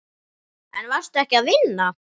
En varstu ekki að vinna?